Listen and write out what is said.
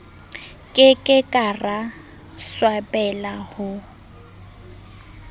ke ke ra swabela ho